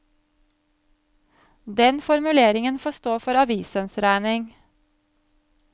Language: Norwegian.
Den formuleringen får stå for avisens regning.